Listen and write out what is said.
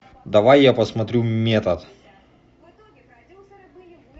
давай я посмотрю метод